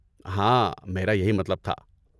ہاں، میرا یہی مطلب تھا۔